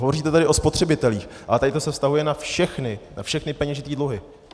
Hovoříte tady o spotřebitelích, ale tady to se vztahuje na všechny peněžité dluhy.